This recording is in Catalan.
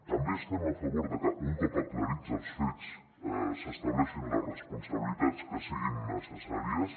també estem a favor de que un cop aclarits els fets s’estableixin les responsabilitats que siguin necessàries